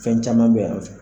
Fɛn caman bɛ